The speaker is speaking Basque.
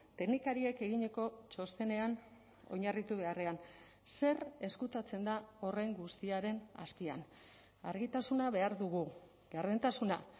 teknikariek eginiko txostenean oinarritu beharrean zer ezkutatzen da horren guztiaren azpian argitasuna behar dugu gardentasuna